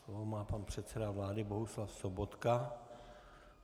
Slovo má pan předseda vlády Bohuslav Sobotka.